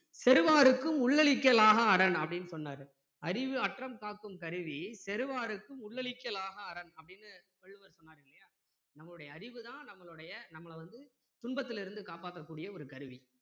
செறுவார்க்கும் உள்ளழிக்கல் ஆகா அரண் அப்படின்னு சொன்னாரு அறிவு அற்றம் காக்கும் கருவி செறுவார்க்கும் உள்ளழிக்கல் ஆகா அரண் அப்படின்னு வள்ளுவர் சொன்னாரு இல்லையா நம்மளுடைய அறிவு தான் நம்மளுடைய ந்ம்மள வந்து துன்பத்தில இருந்து காப்பாத்தக் கூடிய ஒரு கருவி